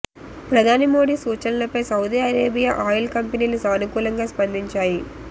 ప్రధాని మోడీ సూచనలపై Saudi Arabia oil కంపెనీలు సానుకూలంగా స్పందించాయి